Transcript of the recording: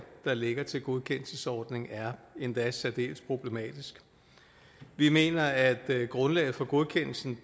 der ligger til en godkendelsesordning er endda særdeles problematisk vi mener at grundlaget for godkendelsen